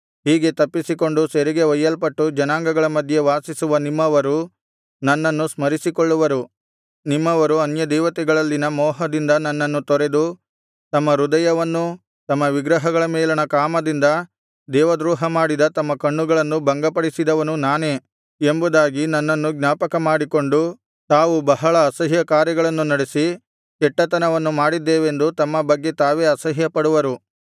ಹೀಗೆ ತಪ್ಪಿಸಿಕೊಂಡು ಸೆರೆಗೆ ಒಯ್ಯಲ್ಪಟ್ಟು ಜನಾಂಗಗಳ ಮಧ್ಯೆ ವಾಸಿಸುವ ನಿಮ್ಮವರು ನನ್ನನ್ನು ಸ್ಮರಿಸಿಕೊಳ್ಳುವರು ನಿಮ್ಮವರು ಅನ್ಯದೇವತೆಗಳಲ್ಲಿನ ಮೋಹದಿಂದ ನನ್ನನ್ನು ತೊರೆದು ತಮ್ಮ ಹೃದಯವನ್ನೂ ತಮ್ಮ ವಿಗ್ರಹಗಳ ಮೇಲಣ ಕಾಮದಿಂದ ದೇವದ್ರೋಹಮಾಡಿದ ತಮ್ಮ ಕಣ್ಣುಗಳನ್ನೂ ಭಂಗಪಡಿಸಿದವನು ನಾನೇ ಎಂಬುದಾಗಿ ನನ್ನನ್ನು ಜ್ಞಾಪಕಮಾಡಿಕೊಂಡು ತಾವು ಬಹಳ ಅಸಹ್ಯಕಾರ್ಯಗಳನ್ನು ನಡೆಸಿ ಕೆಟ್ಟತನವನ್ನು ಮಾಡಿದ್ದೇವೆಂದು ತಮ್ಮ ಬಗ್ಗೆ ತಾವೇ ಅಸಹ್ಯಪಡುವರು